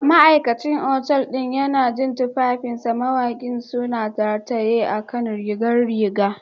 Ma'aikacin otal ɗin yana jin tufafin Mawaƙi suna rataye a kan rigar rigar